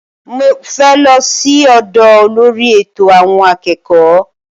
Mo fẹ́ lọ sí ọ́dọ olórí ẹ̀tọ̀ àwọn akẹ́kọ̀ọ́